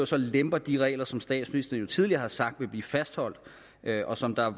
lempes de regler som statsministeren tidligere har sagt ville blive fastholdt og som der